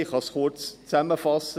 Ich kann diese kurz zusammenfassen.